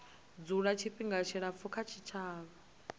dzula tshifhinga tshilapfu kha tshitshavha